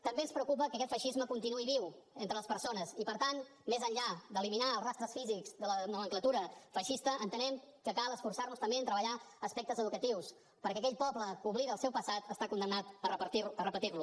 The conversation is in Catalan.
també ens preocupa que aquest feixisme continuï viu entre les persones i per tant més enllà d’eliminar els rastres físics de la nomenclatura feixista entenem que cal esforçar nos també en treballar aspectes educatius perquè aquell poble que oblida el seu passat està condemnat a repetir lo